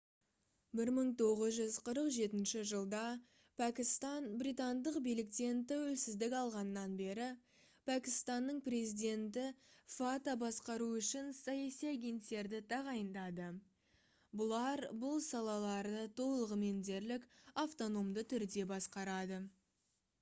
1947 жылда пәкістан британдық биліктен тәуелсіздік алғаннан бері пәкістанның президенті fata басқару үшін «саяси агенттерді» тағайындады. бұлар бұл салаларды толығымен дерлік автономды түрде басқарады